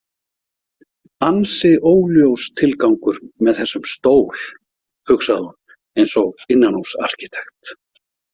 Ansi óljós tilgangur með þessum stól, hugsaði hún eins og innanhúsarkítekt.